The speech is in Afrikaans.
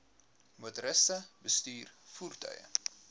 motoriste bestuur voertuie